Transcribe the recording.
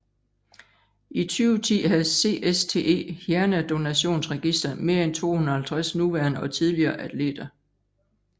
I 2010 havde CSTE Hjernedonationsregister mere end 250 nuværende og tidligere atleter